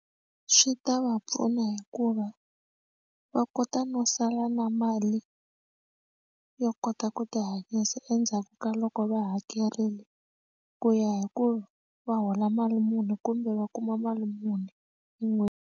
Swi ta va pfuna hikuva va kota no sala na mali yo kota ku tihanyisa endzhaku ka loko va hakerile ku ya hi ku va hola mali muni kumbe va kuma mali muni hi .